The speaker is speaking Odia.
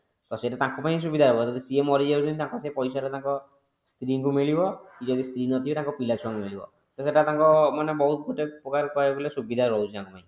ତ ସେଟା ତାଙ୍କ ପାଇଁ ସୁବିଧା ହବ ଯଦି ସିଏ ମରିଯାଉଛନ୍ତି ତାଙ୍କ ସେ ପଇସା ଟା ତାଙ୍କ ସ୍ତ୍ରୀ ଙ୍କୁ ମିଳିବ ଯଦି ସ୍ତ୍ରୀ ନଥିବେ ତାଙ୍କ ପିଲା ଛୁଆଙ୍କୁ ମିଳିବ ତ ସେଟା ତାଙ୍କ ମାନେ ବହୁତ ଗୋଟେ ପ୍ରକାର କହିବାକୁ ଗଲେ ସୁବିଧା ରହୁଛି ତାଙ୍କ ପାଇଁ